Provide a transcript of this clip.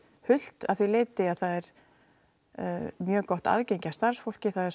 hult að því leiti að það er mjög gott aðgengi að starfsfólki það er